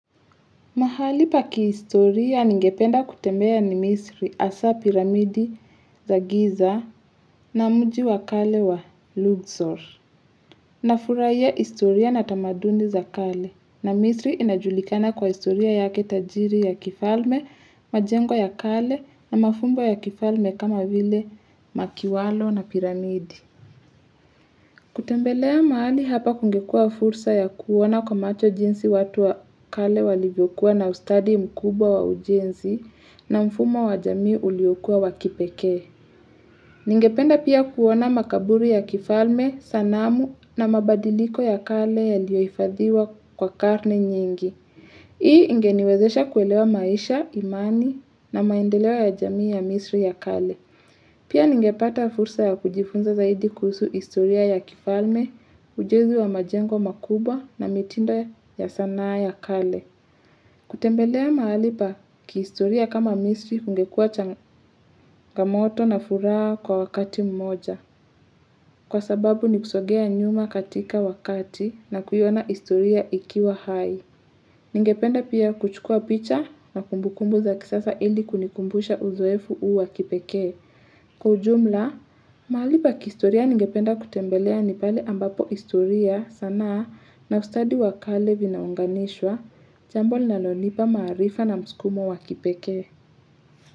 Mahali pa kihistoria ningependa kutembea ni misri hasa piramidi za giza na mji wakale wa Luxor. Nafurahia historia na tamaduni za kale na misri inajulikana kwa historia yake tajiri ya kifalme, majengo ya kale na mafumbo ya kifalme kama vile makiwalo na piramidi. Kutembelea mahali hapa kungekuwa fursa ya kuoana kwa macho jinsi watu wa kale walivyokuwa na ustadi mkubwa wa ujenzi na mfumo wa jamii uliokuwa wakipekee Ningependa pia kuoana makaburu ya kifalme, sanamu na mabadiliko ya kale yaliyoifadhiwa kwa karne nyingi Hii ingeniwezesha kuelewa maisha, imani na maendeleo ya jamii ya misri ya kale Pia ningepata fursa ya kujifunza zaidi kuhusu historia ya kifalme, ujenzi wa majengo makubwa na mitindo ya sanaa ya kale. Kutembelea mahali pa kiistoria kama misri kungekuwa changamoto na furaha kwa wakati mmoja. Kwa sababu nikusogea nyuma katika wakati na kuiona historia ikiwa hai. Ningependa pia kuchukua picha na kumbukumbu za kisasa ili kunikumbusha uzoefu huu wa kipekee. Kwa ujumla, mahali pa kistoria ningependa kutembelea ni pale ambapo historia, sanaa na ustadi wa kale vinaunganishwa jambo linalo nipa marifa na msukumo wa kipekee.